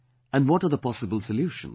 And what are the possible solutions